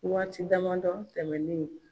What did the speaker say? Waati dama dɔ tɛmɛnnen.